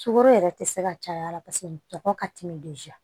Sukaro yɛrɛ tɛ se ka caya paseke dɔgɔ ka timi